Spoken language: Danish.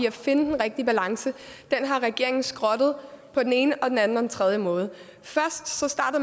at finde den rigtige balance i den har regeringen skrottet på den ene og den anden og den tredje måde